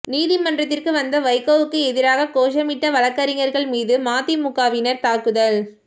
நீதிமன்றத்திற்கு வந்த வைகோவுக்கு எதிராக கோஷமிட்ட வழக்கறிஞர்கள் மீது மதிமுகவினர் தாக்குதல்